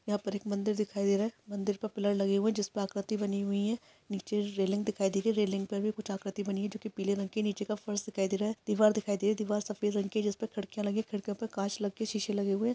यहाँ पर एक मन्दिर दिखाई दे रहा है मन्दिर पर पिलर लगे हुए हैं जिस पर आकृति बनी हुई है नीचे रेलिंग दिखाई दे रही हैं रेलिंग पर भी कुछ आकृति बनी हुई है जो की पीले रंग की हैं नीचे का फर्श दिखाई दे रहा है दीवार दिखाई दे रही हैं दीवार सफेद रंग की हैं जिस पर खिड़कियां लगी है खिड़कियों पर काँच के शीशे लगे हुए हैं।